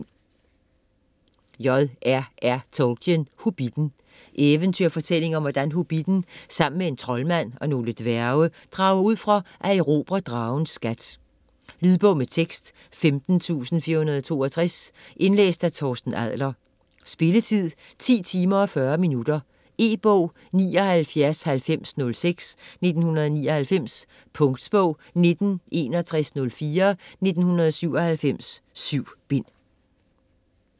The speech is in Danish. Tolkien, J. R. R.: Hobbitten Eventyrfortælling om hvordan hobbitten sammen med en troldmand og nogle dværge drager ud for at erobre dragens skat. Lydbog med tekst 15462 Indlæst af Torsten Adle.r Spilletid: 10 timer, 40 minutter. E-bog 799006 1999. Punktbog 196104 1997.7 bind.